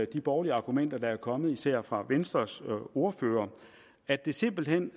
de borgerlige argumenter der er kommet især fra venstres ordfører at det simpelt hen